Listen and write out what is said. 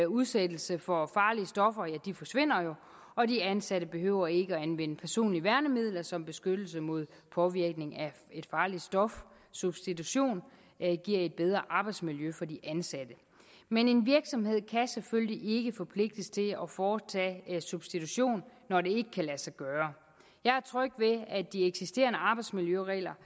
udsættelse for farlige stoffer forsvinder og de ansatte behøver ikke at anvende personlige værnemidler som beskyttelse mod påvirkning af et farligt stof substitution giver et bedre arbejdsmiljø for de ansatte men en virksomhed kan selvfølgelig ikke forpligtes til at foretage en substitution når det ikke kan lade sig gøre jeg er tryg ved at de eksisterende arbejdsmiljøregler